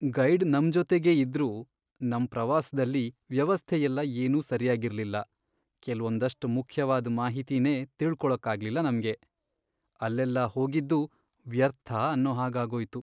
Guide ನಮ್ಜೊತೆಗೇ ಇದ್ರೂ ನಮ್ ಪ್ರವಾಸ್ದಲ್ಲಿ ವ್ಯವಸ್ಥೆಯೆಲ್ಲ ಏನೂ ಸರ್ಯಾಗಿರ್ಲಿಲ್ಲ. ಕೆಲ್ವೊಂದಷ್ಟ್ ಮುಖ್ಯವಾದ್ ಮಾಹಿತಿನೇ ತಿಳ್ಕೊಳಕ್ಕಾಗ್ಲಿಲ್ಲ ನಮ್ಗೆ, ಅಲ್ಲೆಲ್ಲ ಹೋಗಿದ್ದೂ ವ್ಯರ್ಥ ಅನ್ನೋ ಹಾಗಾಗೋಯ್ತು.